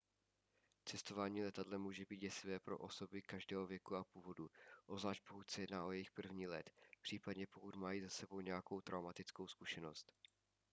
cestování letadlem může být děsivé pro osoby každého věku a původu obzvlášť pokud se jedná o jejich první let případně pokud mají za sebou nějakou traumatickou zkušenost